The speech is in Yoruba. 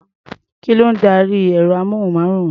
Kí ló ń darí ẹ̀rọ-amóhùnmáwòrán?